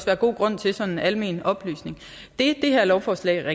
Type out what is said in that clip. være god grund til sådan af almindelig oplysning det det her lovforslag